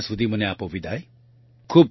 ત્યાં સુધી મને વિદાય આપો